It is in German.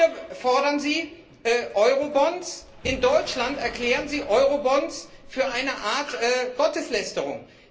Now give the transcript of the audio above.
Hier fordern Sie Eurobonds, in Deutschland erklären Sie Eurobonds zu einer Art Gotteslästerung.